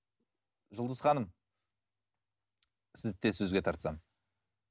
жұлдыз ханым сізді де сөзге тартсам